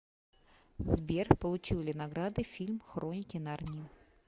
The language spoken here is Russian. сбер получил ли награды фильм хроники нарнии